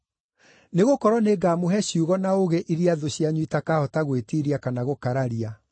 Nĩgũkorwo nĩngamũhe ciugo na ũũgĩ iria thũ cianyu itakahota gwĩtiiria kana gũkararia.